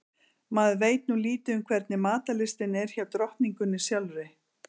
Maður veit nú lítið um hvernig matarlystin er hjá drottningunni sjálfri.